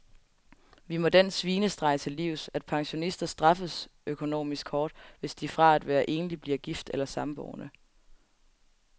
Vi må den svinestreg til livs, at pensionister straffes økonomisk hårdt, hvis de fra at være enlig bliver gift eller samboende.